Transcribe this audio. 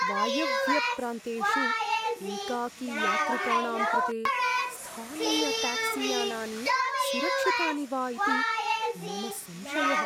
वायव्यप्रान्तेषु एकाकीयात्रिकाणां कृते स्थानीयट्याक्सीयानानि सुरक्षितानि वा इति मम संशयः।